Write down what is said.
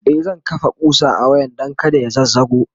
e zan kafa ƙusa a wayan Dan kada ya zazzago